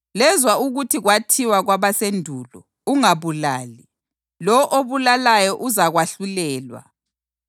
“Lezwa ukuthi kwathiwa kwabasendulo, ‘Ungabulali; lowo obulalayo uzakwahlulelwa.’ + 5.21 U-Eksodasi 20.13